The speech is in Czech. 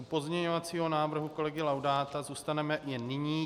U pozměňovacího návrhu kolegy Laudáta zůstaneme i nyní.